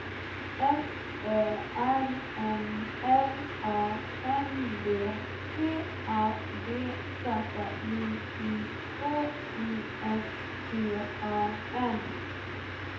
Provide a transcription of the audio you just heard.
S Ö R M L A N D T A D Z J I K I S T A N